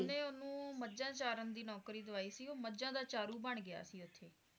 ਓਹਨੇ ਓਹਨੂੰ ਮੱਝਾਂ ਚਾਰਨ ਦੀ ਨੌਕਰੀ ਦਵਾਈ ਸੀ ਉਹ ਮਾਝਾ ਦਾ ਚਾਰੁ ਬਣ ਗਿਆ ਸੀ ਓਥੇ